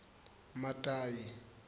matayi